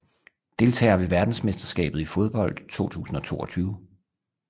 Deltagere ved verdensmesterskabet i fodbold 2022